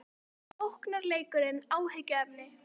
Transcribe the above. Er sóknarleikurinn áhyggjuefni?